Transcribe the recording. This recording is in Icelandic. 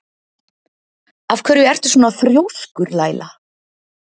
Af hverju ertu svona þrjóskur, Laíla?